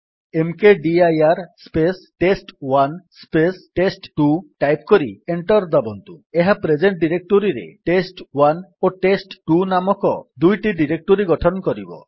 ମକଦିର space test one space test two type କରି enter ଦାବନ୍ତୁ ଏହା ପ୍ରେଜେଣ୍ଟ୍ ଡିରେକ୍ଟୋରୀରେ ଟେଷ୍ଟ1 ଓ ଟେଷ୍ଟ2 ନାମକ ଦୁଇଟି ଡିରେକ୍ଟୋରୀ ଗଠନ କରିବ